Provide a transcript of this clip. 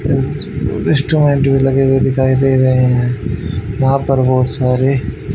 भी लगे हुए दिखाई दे रहे हैं यहां पर बहुत सारे--